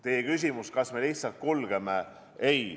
Teie küsimus oli, kas me lihtsalt kulgeme kaasa.